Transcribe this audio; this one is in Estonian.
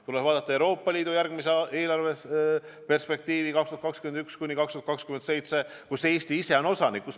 Tuleb vaadata ka Euroopa Liidu järgmist eelarveperspektiivi 2021–2027, mille otsustamisel Eesti on osanik olnud.